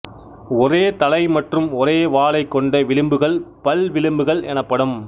ஒரே தலை மற்றும் ஒரே வாலைக் கொண்ட விளிம்புகள் பல்விளிம்புகள் எனப்படும்